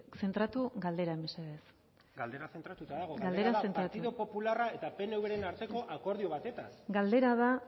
zentratu galderan mesedez galdera zentratuta dago galderan zentratu partidu popularra eta pnvren arteko akordio batetaz galdera da